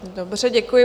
Dobře, děkuji.